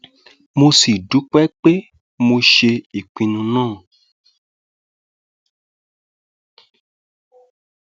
mo sì dúpẹ pé mo ṣe ìpinnu náà